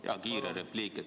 Jaa, kiire repliik.